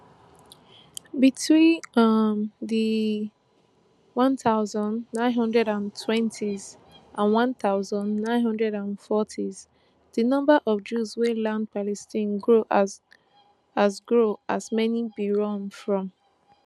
between um di one thousand, nine hundred and twentys and one thousand, nine hundred and fortys di number of jews wey land palestine grow as grow as many bin run from persecution in europe